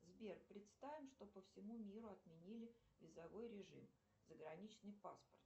сбер представим что по всему миру отменили визовой режим заграничный паспорт